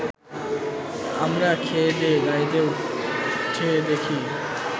আমরা খেয়েদেয়ে গাড়িতে উঠে দেখি